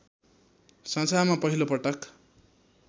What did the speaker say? संसारमा पहिलो पटक